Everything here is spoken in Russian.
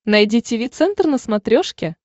найди тиви центр на смотрешке